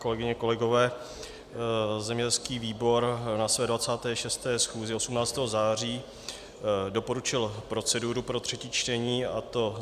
Kolegyně, kolegové, zemědělský výbor na své 26. schůzi 18. září doporučil proceduru pro třetí čtení, a to: